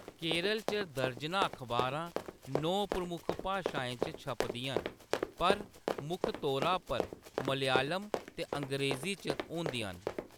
केरल च दर्जनां अखबारां नौ प्रमुख भाशाएं च छपदियां न, पर मुक्ख तौरा पर मलयालम ते अंग्रेज़ी च होंदियां न।